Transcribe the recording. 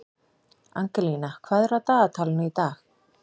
Angelína, hvað er á dagatalinu í dag?